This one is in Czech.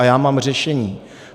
A já mám řešení.